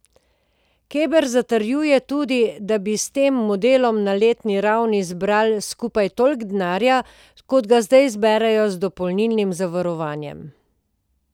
Keber zatrjuje tudi, da bi s tem modelom na letni ravni zbrali skupaj toliko denarja, kot ga zdaj zberejo z dopolnilnim zavarovanjem.